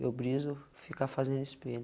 Eu briso ficar fazendo espelho.